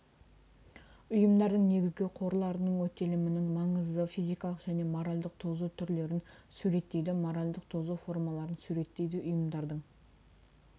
ұйымдардың негізгі қорларының өтелімінің маңызы физикалық және моральдік тозу түрлерін суреттейді моральдік тозу формаларын суреттейді ұйымдардың